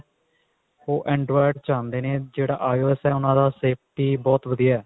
ਉਹ android ਚ ਆਉਂਦੇ ਨੇ ਜਿਹੜਾ IOS ਹੈ ਉਹਨਾ ਦਾ safety ਬਹੁਤ ਵਧੀਆ